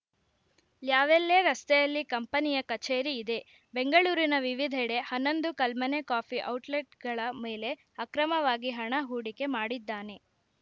ಲ್ಯಾವೆಲ್ಲೇ ರಸ್ತೆಯಲ್ಲಿ ಕಂಪನಿಯ ಕಚೇರಿ ಇದೆ ಬೆಂಗಳೂರಿನ ವಿವಿಧೆಡೆ ಹನ್ನೊಂದು ಕಲ್ಮನೆ ಕಾಫಿ ಔಟ್‌ಲೆಟ್‌ಗಳ ಮೇಲೆ ಅಕ್ರಮವಾಗಿ ಹಣ ಹೂಡಿಕೆ ಮಾಡಿದ್ದಾನೆ